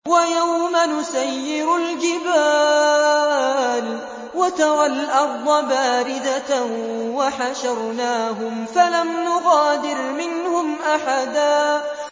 وَيَوْمَ نُسَيِّرُ الْجِبَالَ وَتَرَى الْأَرْضَ بَارِزَةً وَحَشَرْنَاهُمْ فَلَمْ نُغَادِرْ مِنْهُمْ أَحَدًا